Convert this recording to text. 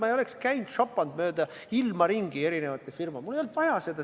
Ma ei oleks käinud ega šopanud mööda ilma erinevates firmades, mul ei olnud seda vaja.